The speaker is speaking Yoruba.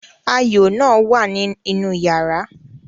Ayo náà wà ní inú yàrá